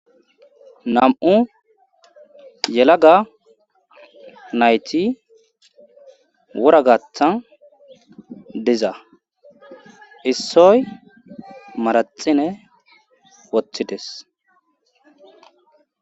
Nam7u yelaga nayti wura gaththan diza issoy maraxine wothides.